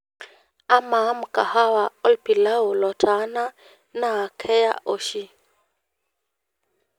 amaa mkahawa olpilau lotaana naa keya oshi